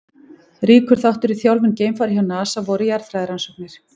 Ríkur þáttur í þjálfun geimfara hjá NASA voru jarðfræðirannsóknir.